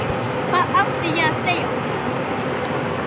Hvað átti ég að segja honum?